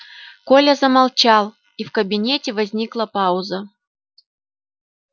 коля замолчал и в кабинете возникла пауза